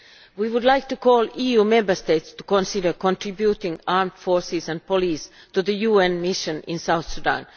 We would like to call on the Member States to consider contributing armed forces and police to the UN mission in South Sudan.